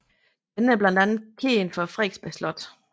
Denne er blandt andet kendt for Frederiksberg Slot